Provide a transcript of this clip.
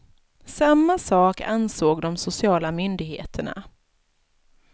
Samma sak ansåg de sociala myndigheterna.